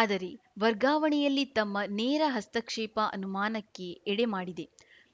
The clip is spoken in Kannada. ಆದರೆ ವರ್ಗಾವಣೆಯಲ್ಲಿ ತಮ್ಮ ನೇರ ಹಸ್ತಕ್ಷೇಪ ಅನುಮಾನಕ್ಕೆ ಎಡೆ ಮಾಡಿದೆ